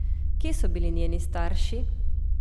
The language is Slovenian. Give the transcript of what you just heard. Kje so bili njeni starši?